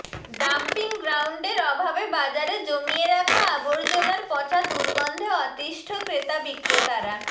dumping গ্রাউন্ডের অভাবে বাজারে জমিয়ে রাখা আবর্জনার পচা দুর্গন্ধে অতিষ্ঠ ক্রেতা বিক্রেতারা